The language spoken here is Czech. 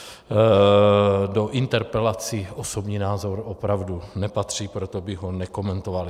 Do interpelací osobní názor opravdu nepatří, proto bych ho nekomentoval.